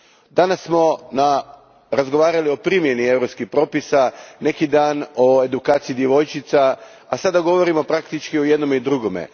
Danas smo razgovarali o primjeni europskih propisa, neki dan o edukaciji djevojčica, a sada govorimo praktički o jednome i drugome.